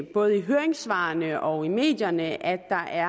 i både høringssvarene og i medierne at